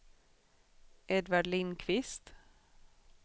Edvard Lindqvist